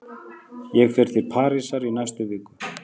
Ég fer til Parísar í næstu viku.